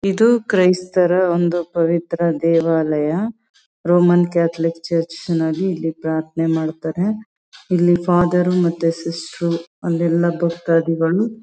ಇದು ಕ್ರೈಸ್ತರ ಒಂದು ಪವಿತ್ರ ದೇವಾಲಯ ರೋಮನ್ ಕ್ಯಾಥಲಿಕ್ ಚರ್ಚ್ ನಲ್ಲಿ ಇಲ್ಲಿ ಪ್ರಾರ್ಥನೆ ಮಾಡ್ತಾರೆ. ಇಲ್ಲಿ ಫಾದರ್ ರು ಮತ್ತೆ ಸಿಸ್ಟರ್ ರು ಅಲ್ಲೆಲ್ಲ ಭಕ್ತಾದಿಗಳು --